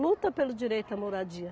Luta pelo direito à moradia.